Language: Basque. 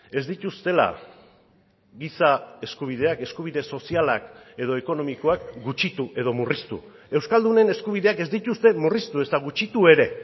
ez dituztela giza eskubideak eskubide sozialak edo ekonomikoak gutxitu edo murriztu euskaldunen eskubideak ez dituzte murriztu ezta gutxitu ere